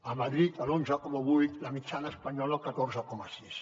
a madrid l’onze coma vuit la mitjana espanyola el catorze coma sis